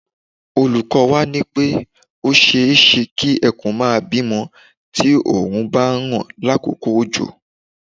Olúko̩ wa ní pé ó s̩e é s̩e kí e̩kùn máa bímo̩ tí òòrùn bá ń ràn lákòókò òjò